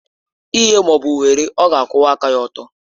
Nye ma ọ bụ were, ọ ga-akwụwa aka ọtọ.